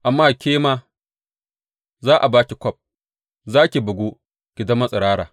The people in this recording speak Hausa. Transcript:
Amma ke ma za a ba ki kwaf; za ki bugu ki zama tsirara.